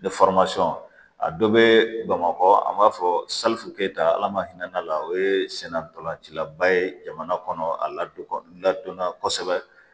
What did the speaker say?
a dɔ be bamakɔ an b'a fɔ salifu keyita ala ma hinɛ ala o ye senna ntolancilaba ye jamana kɔnɔ a la n ladɔnna kosɛbɛ